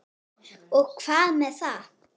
Og hvað með það?